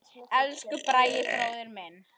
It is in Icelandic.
Elsku Bragi bróðir minn.